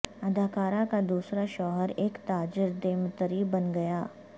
اداکارہ کا دوسرا شوہر ایک تاجر دیمتری بن گیا